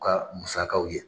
U ka musakaw ye.